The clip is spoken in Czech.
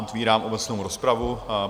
Otevírám obecnou rozpravu.